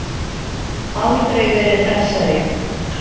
Aldrei verið hressari.